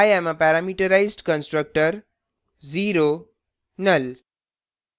i am a parameterized constructor